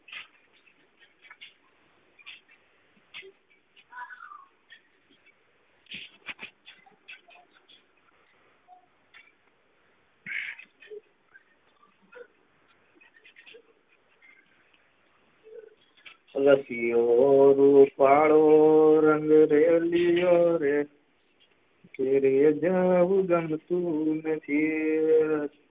રસિયો રૂપાળો રંગ રેલિયો રે, ઘેરે જાવું ગમતું નથી